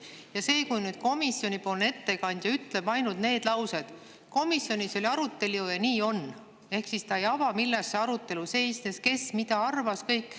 kui komisjoni ettekandja ütleb ainult, et komisjonis oli arutelu ja nii on, ehk siis ta ei ava, milles arutelu seisnes, kes mida arvas ja nii edasi?